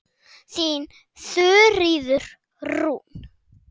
Þín Þuríður Rún.